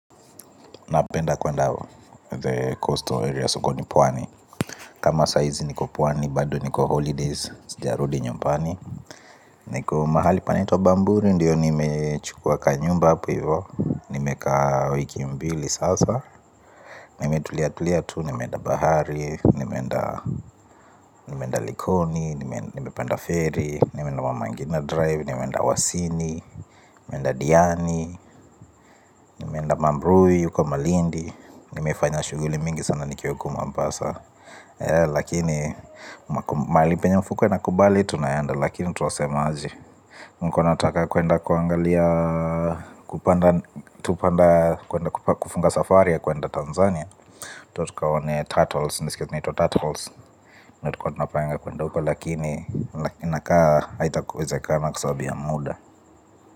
Napenda kwenda the coastal area sokoni pwani. Kama sahizi niko pwani bado niko holidays. Sijarudi nyumbani. Niko mahali panaitwa bamburi ndio nimechukua kanyumba hapo hivo. Nimekaa wiki mbili sasa. Nimetulia tulia tu, nimeenda bahari. Nimeenda likoni, nimepanda ferry. Nimeenda mamangina drive, nimeenda wasini. Nimeenda diani, nimeenda mambrui uko malindi. Nimefanya shughuli mingi sana nikiwa huku mombasa. Lakini mahali penye mfuko inakubali tunaenda. Lakini twasema aje nilikuwa nataka kwenda kuangalia kupanda kufunga safari ya kwenda Tanzania Tukaone turtles, niliisikia kunaitwa turtles tulikiwa tunapanga kwenda huko lakini lakini inakaa, haitakuwezekana kaa sababu ya muda.